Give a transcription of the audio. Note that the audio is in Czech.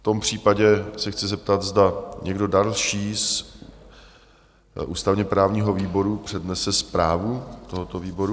V tom případě se chci zeptat, zda někdo další z ústavně-právního výboru přednese zprávu tohoto výboru?